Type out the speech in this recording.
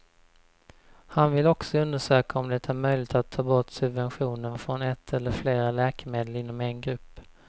Han vill också undersöka om det är möjligt att ta bort subventionen från ett eller flera läkemedel inom en grupp.